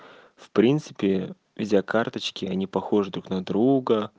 в принципе видеокарточки они похожи друг на друга